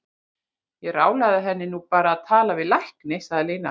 Ég ráðlagði henni nú bara að tala við læknir, sagði Lína.